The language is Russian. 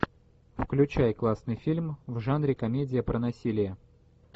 включай классный фильм в жанре комедия про насилие